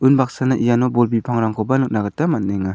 unbaksana iano bol bipangrangkoba nikna gita man·enga.